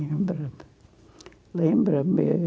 Lembra-me, lembra-me.